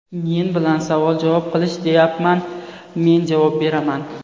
Men bilan savol-javob qilish deyapman, men javob beraman.